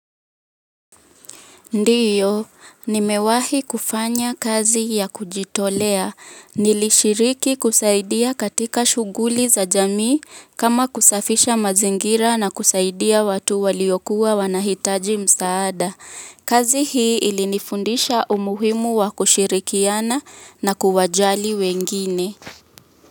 Ndiyo, nimewahi kufanya kazi ya kujitolea. Nilishiriki kusaidia katika shughuli za jamii kama kusafisha mazingira na kusaidia watu waliokuwa wanahitaji msaada. Kazi hii ilinifundisha umuhimu wa kushirikiana na kuwajali wengine.